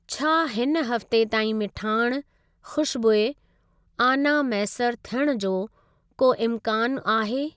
छा हिन हफ़्ते ताईं मिठाण, खू़शबूइ, आना मैसर थियणु जो को इम्कानु आहे?